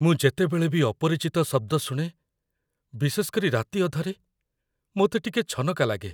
ମୁଁ ଯେତେବେଳେ ବି ଅପରିଚିତ ଶବ୍ଦ ଶୁଣେ, ବିଶେଷ କରି ରାତି ଅଧରେ, ମୋତେ ଟିକେ ଛନକା ଲାଗେ।